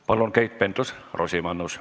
Palun, Keit Pentus-Rosimannus!